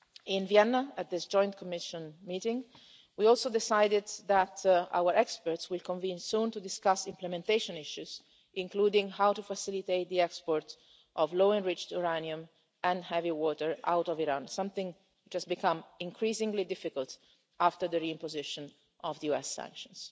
In Vienna at this Joint Commission meeting, we also decided that our experts will convene soon to discuss implementation issues, including how to facilitate the export of low enriched uranium and heavy water out of Iran, something that has become increasingly difficult after the re imposition of US sanctions.